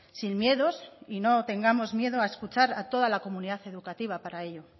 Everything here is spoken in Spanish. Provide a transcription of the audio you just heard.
sin miedos y no tengamos miedo a escuchar a toda la comunidad educativa para ello